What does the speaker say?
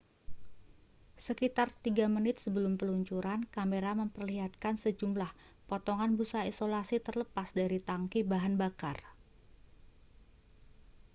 sekitar 3 menit sebelum peluncuran kamera memperlihatkan sejumlah potongan busa isolasi terlepas dari tangki bahan bakar